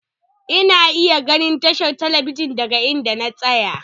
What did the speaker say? Ina iya ganin tashar talabijin daga inda na tsaya.